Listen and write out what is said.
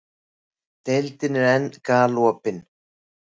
Deildin er enn galopin